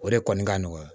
O de kɔni ka nɔgɔya